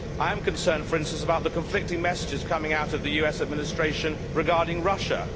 I am concerned for instance about the conflicting messages coming out of the US Administration regarding Russia.